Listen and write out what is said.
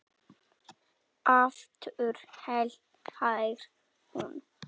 Aftur hlær hún.